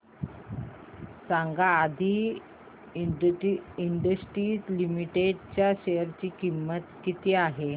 सांगा Aadi industries limited च्या share ची किंमत किती आहे